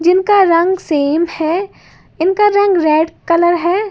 जिन का रंग सेम है इनका रंग रेड कलर है।